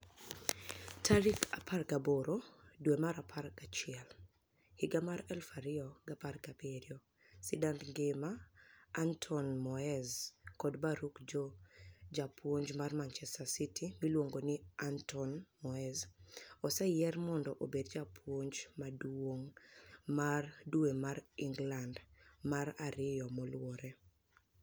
18 dwe mar apar gi achiel, 2017 sidanid nigima Anitoni Moez kod Baruk Joe Japuonij mar Manichester City miluonigo nii Anitoni Moez oseyier monido obed japuonij maduonig' mar dwe mar Eniglanid mar ariyo maluwore.